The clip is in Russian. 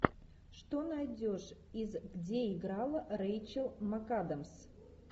что найдешь из где играла рейчел макадамс